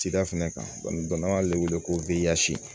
Cida fɛnɛ kan n'an b'ale wele ko